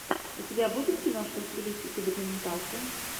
у тебя будет киношка в стилистике документалки